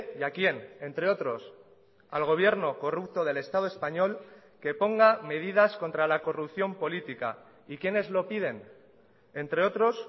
y a quién entre otros al gobierno corrupto del estado español que ponga medidas contra la corrupción política y quiénes lo piden entre otros